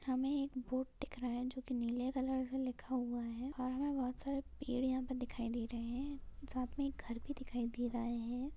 हमे एक बोर्ड दिख रहा है जो की नीले कलर से लिखा हुआ है और हमे बहुत सारे पेड़ यहा पे दिखाई दे रहे है साथ मे एक घर भी दिखाई दे रहा है।